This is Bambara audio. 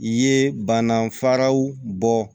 Ye bana faraw bɔ